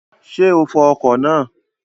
Ṣé o fọ ọkọ̀ náà?